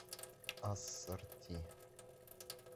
ассорти